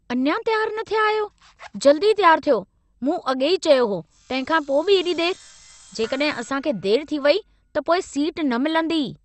अञा तियारु न थिया आहियो, जल्दी तियारु थियो। मूं अॻेई चयो हो, तंहिंखां पोइ बि एॾी देरि! जेकॾहिं असां खे देरि थी वई, त पोइ सीट न मिलंदी।